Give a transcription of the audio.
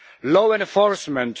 law enforcement